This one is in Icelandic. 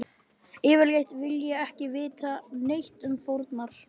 Yfirleitt vil ég ekki vita neitt um fórnar